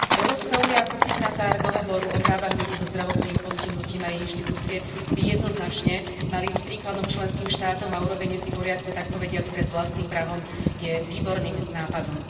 Európska únia ako signatár Dohovoru o právach ľudí so zdravotným postihnutím a jej inštitúcie by jednoznačne mali ísť príkladom členským štátom a urobenie si poriadku takpovediac pred vlastným prahom je výborným nápadom.